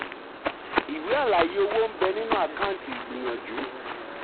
ìwé àlàyé owó ń bẹ nínú àkáǹtì ìgbìyànjù.